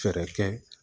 Fɛɛrɛ kɛ